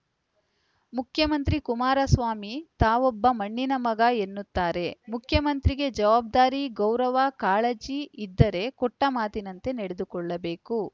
ಮುಖ್ಯಮಂತ್ರಿ ಕುಮಾರಸ್ವಾಮಿ ತಾವೊಬ್ಬ ಮಣ್ಣಿನ ಮಗ ಎನ್ನುತ್ತಾರೆ ಮುಖ್ಯಮಂತ್ರಿಗೆ ಜವಾಬ್ದಾರಿ ಗೌರವ ಕಾಳಜಿ ಇದ್ದರೆ ಕೊಟ್ಟಮಾತಿನಂತೆ ನಡೆದುಕೊಳ್ಳಬೇಕು